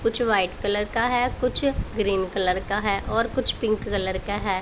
कुछ white colour का है कुछ ग्रीन कलर का है और कुछ पिंक कलर का है।